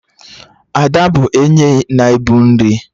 Ada bụ onye na-ebu nri